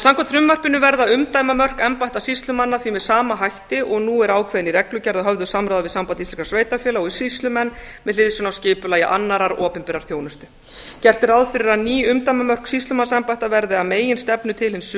samkvæmt frumvarpinu verða umdæmamörk embætta sýslumanna því með sama hætti og nú eru ákveðin í reglugerð að höfðu samráði við samband íslenskra sveitarfélaga og sýslumenn með hliðsjón af skipulagi annarrar opinberrar þjónustu gert er ráð fyrir að ný umdæmamörk sýslumannsembætta verði að meginstefnu til hin